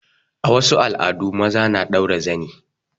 A wasu al'adun maza na ɗaura zani.